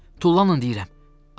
Tullanın deyirəm!